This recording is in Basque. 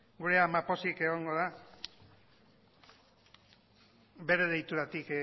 gure ama pozik egongo da bere deituratik